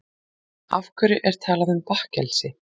Af hverju er talað um bakkelsi?